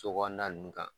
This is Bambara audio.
So kɔnɔna nunnu kan